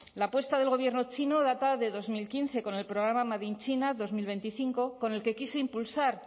la apuesta del gobierno chino data de dos mil quince con el programa made in china dos mil veinticinco con el que quiso impulsar